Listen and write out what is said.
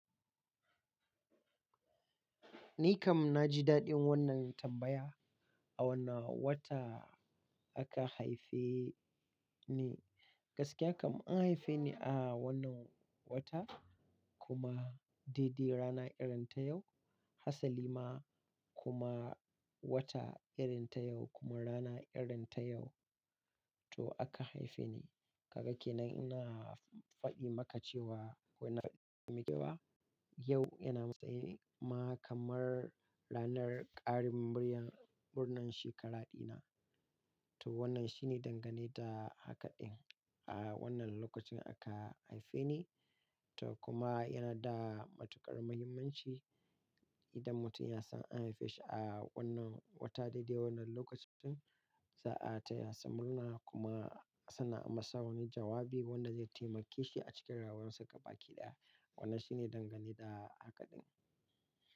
Ni kam na ji daɗin wannan tambaya. A wani wata aka haife ni. Gaskiya kam an haife ni a wannan wata kuma daidai rana irin ta yau, hatsali ma kuma wata irin ta yau kuma rana irin ta yau to aka haife ni. Ka gan kenan ina faɗi maka cewa wannan yau yana masayi ma kamar ranar ƙarin biryan murnar shekara dina. To wannan shine dangane da hakaɗin a wannan lokacin aka haife ni. To kuma yana da matuƙar muhimmanci idan mutum ya san an haife shi a wannan wata daidai wannan lokacin, sai a taya su murna kuma suna masa wani jawabi wanda zai taimake shi a cikin rayuwarsa gaba ɗaya. Wannan shine dangane da hakaɗin.